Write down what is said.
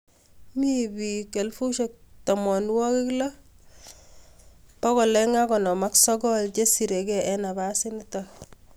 Mi pik 16,259 chesire kei eng nafasit nitok.